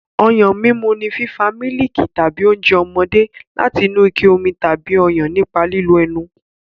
Ọyàn mímu ni fífa mílìkì tàbí oúnjẹ ọmọdé láti inú ike omi tàbí Ọyàn nípa lílo ẹnu.